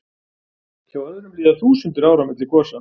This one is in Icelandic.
Hjá öðrum líða þúsundir ára milli gosa.